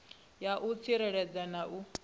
ya u tsireledza na u